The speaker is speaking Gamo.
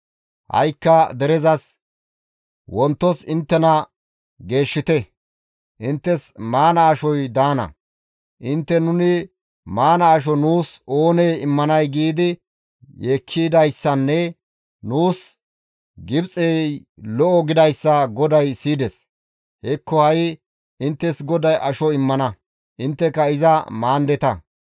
Ha7ikka derezas, ‹Wontos inttena geeshshite; inttes maana ashoy daana; intte nuni maana asho nuus oonee immanay giidi yeekkidayssanne nuus Gibxey lo7o gidayssa GODAY siyides; hekko ha7i inttes GODAY asho immana; intteka iza maandeta.